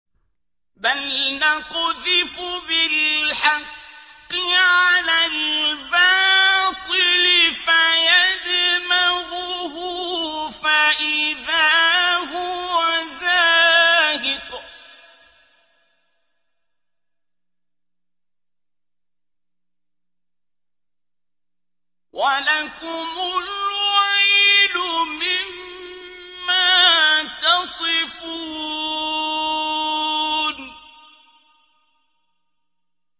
بَلْ نَقْذِفُ بِالْحَقِّ عَلَى الْبَاطِلِ فَيَدْمَغُهُ فَإِذَا هُوَ زَاهِقٌ ۚ وَلَكُمُ الْوَيْلُ مِمَّا تَصِفُونَ